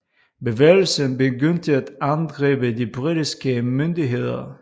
Bevægelsen begyndte at angribe de britiske myndigheder